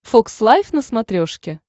фокс лайв на смотрешке